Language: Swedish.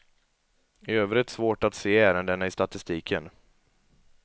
I övrigt svårt att se ärendena i statistiken.